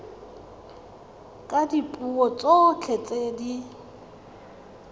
ka dipuo tsotlhe tse di